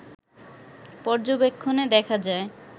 পর্যবেক্ষণে দেখা যায়